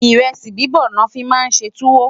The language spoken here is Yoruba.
iresi bibọ lofi má n ṣé tuwo